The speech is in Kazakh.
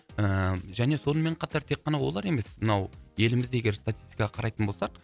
ііі және сонымен қатар тек қана олар емес мынау еліміздегі статистикаға қарайтын болсақ